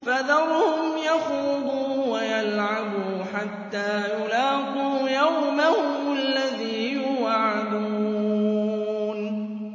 فَذَرْهُمْ يَخُوضُوا وَيَلْعَبُوا حَتَّىٰ يُلَاقُوا يَوْمَهُمُ الَّذِي يُوعَدُونَ